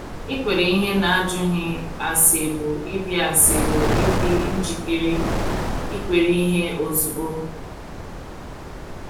Ikwere ihe n’ajụghị ase bụ ịdị ase bụ ịdị njikere ikwere ihe ozugbo.